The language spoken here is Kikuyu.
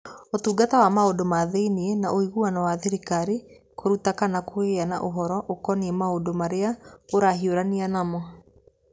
Ũtungata wa Maũndũ ma Thĩinĩ na Ũiguano wa Thirikari kũruta kana kũgĩa na ũhoro ũkoniĩ maũndũ marĩa ũrahiũrania namo.